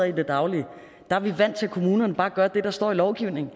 i det daglige er vi er vant til at kommunerne bare gør det der står i lovgivningen